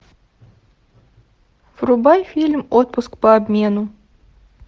врубай фильм отпуск по обмену